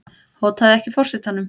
Hótaði ekki forsetanum